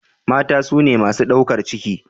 mata sune masu daukar ciki